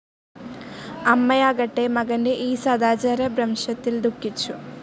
അമ്മയാകട്ടെ മകന്റെ ഈ സദാചാരഭ്രംശത്തിൽ ദുഖിച്ചു.